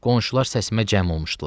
Qonşular səsimə cəm olmuşdular.